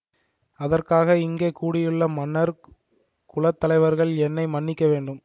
அதற்காக இங்கே கூடியுள்ள மன்னர் குல தலைவர்கள் என்னை மன்னிக்க வேண்டும்